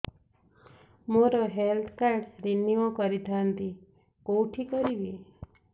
ମୋର health card renew କରିଥାନ୍ତି କୋଉଠି କରିବି